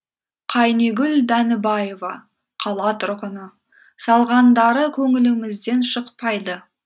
қайнигүл дәнібаева қала тұрғыны салғандары көңілімізден шықпайды